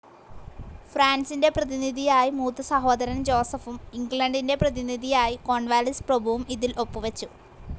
ഫ്രാൻസിൻ്റെ പ്രതിനിധിയായി മൂത്തസഹോദരൻ ജോസഫും ഇംഗ്ലണ്ടിൻ്റെ പ്രതിനിധിയായി കോൺവാലിസ് പ്രഭുവും ഇതിൽ ഒപ്പ് വെച്ചു.